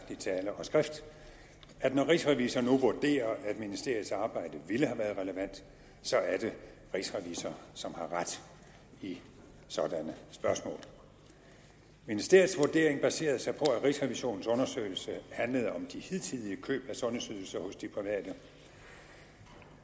i tale og skrift at når rigsrevisor nu vurderer at ministeriets arbejde ville have været relevant så er det rigsrevisor som har ret i sådanne spørgsmål ministeriets vurdering baserede sig på at rigsrevisionens undersøgelse handlede om de hidtidige køb af sundhedsydelser hos de private